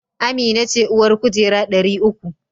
Amina ce uwar kujera dari uku